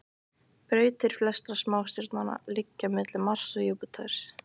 Brautir flestra smástirnanna liggja milli Mars og Júpíters.